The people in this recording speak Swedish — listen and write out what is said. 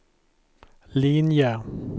linje